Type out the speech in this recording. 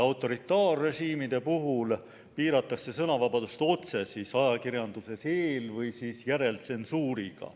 Autoritaarrežiimide puhul piiratakse sõnavabadust otse, ajakirjanduses eel- või järeltsensuuriga.